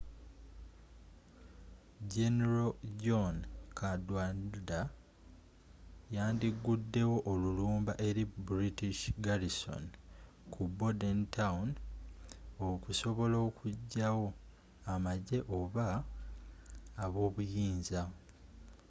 general john cadwalder yandi guddewo olulumba eri british garrison kubordentown okusobola okugyawo amagyeoba ab'obuyinza